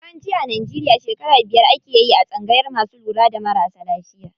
Yawanci a Najeriya shekara biyar akeyi a tsangayar masu lura da marasa lafiya.